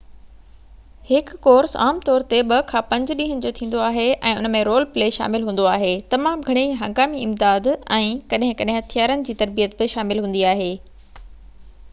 هڪ ڪورس عام طور تي 2-5 ڏينهن جو ٿيندو آهي ۽ ان ۾ رول پلي شامل هوندو آهي تمام گهڻي هنگامي امداد ۽ ڪڏهن ڪڏهن هٿيارن جي تربيت شامل هوندي آهي